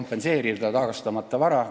Miks mitte tagastamata vara kompenseerida?